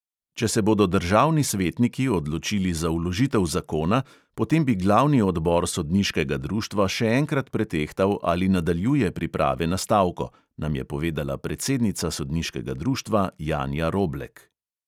Če se bodo državni svetniki odločili za vložitev zakona, potem bi glavni odbor sodniškega društva še enkrat pretehtal, ali nadaljuje priprave na stavko, nam je povedala predsednica sodniškega društva janja roblek.